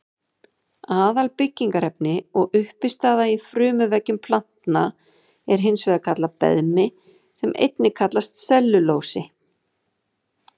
Aðalbyggingarefni og uppistaða í frumuveggjum planta er hins vegar beðmi sem einnig kallast sellulósi.